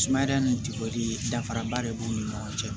Sumaya ni danfaraba de b'u ni ɲɔgɔn cɛ